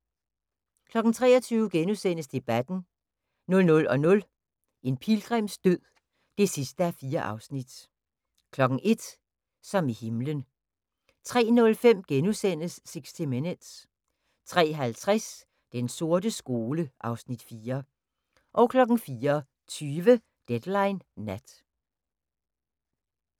23:00: Debatten * 00:00: En pilgrims død (4:4) 01:00: Som i himlen 03:05: 60 Minutes * 03:50: Den sorte skole (Afs. 4) 04:20: Deadline Nat